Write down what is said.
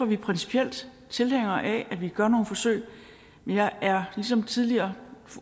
vi principielt tilhængere af at vi gør nogle forsøg men jeg er ligesom tidligere